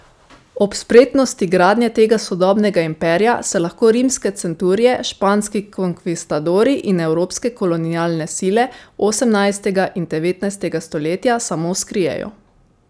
Ob spretnosti gradnje tega sodobnega imperija se lahko rimske centurije, španski konkvistadorji in evropske kolonialne sile osemnajstega in devetnajstega stoletja samo skrijejo.